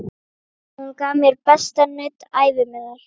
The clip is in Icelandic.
Hún gaf mér besta nudd ævi minnar.